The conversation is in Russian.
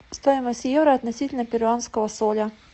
стоимость евро относительно перуанского соля